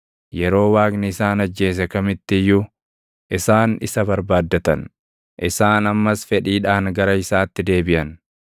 Yeroo Waaqni isaan ajjeese kamitti iyyuu, // isaan isa barbaaddatan; isaan ammas fedhiidhaan gara isaatti deebiʼan.